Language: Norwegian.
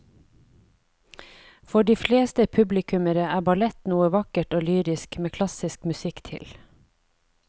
For de fleste publikummere er ballett noe vakkert og lyrisk med klassisk musikk til.